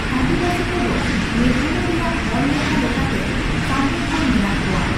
ᱟᱹᱫᱤᱵᱟᱹᱥᱤ ᱠᱚᱫᱚ ᱢᱮᱜᱷᱟᱞᱚᱭ ᱨᱮᱭᱟᱜ ᱦᱚᱲᱞᱮᱠᱷᱟ ᱞᱮᱠᱟᱛᱮ ᱥᱟᱜᱮᱸᱦᱚᱲ ᱢᱮᱱᱟᱜ ᱠᱚᱣᱟ ᱾